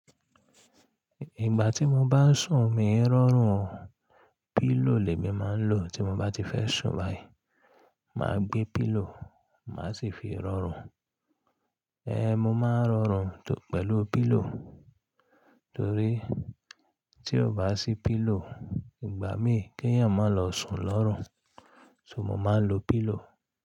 Ìgbà tí mo bá ń sùn, mi ń rọrùn. Pílò lèmí má ń lo tí mo bá ti fẹ́ sùn báyìí. Má gbé pílò, màá sì fi rọrùn. Ẹe mo máa ń rọrùn pẹ̀lú pílò torí tí ọ bá sí pílò, ìgbà mi kí èèyàn má lọ sùn lọ́rùn, so mo máa ń lo pílò.